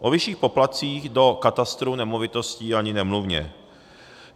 O vyšších poplatcích do katastru nemovitostí ani nemluvě.